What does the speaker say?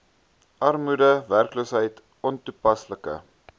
armoede werkloosheid ontoepaslike